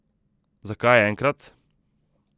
Zakaj enkrat?